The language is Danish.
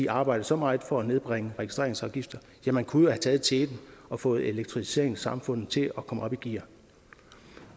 at arbejde så meget for at nedbringe registreringsafgifter ja man kunne jo have taget teten og fået elektrificeringen af samfundet til at komme op i gear